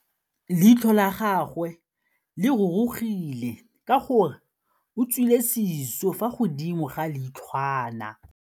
Leitlhô la gagwe le rurugile ka gore o tswile sisô fa godimo ga leitlhwana.